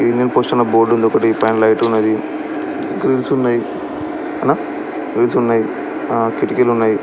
Indian post board ఉంది ఒక్కటి పైన లైటు ఉంది గ్రిల్ల్సున్నాయి అన్న బిల్ల్సున్నాయి ఆ కిటీకీలున్నాయి.